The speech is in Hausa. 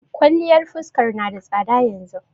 Kwaliyar fuskar na da tsada yanzu.